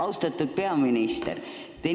Austatud peaminister!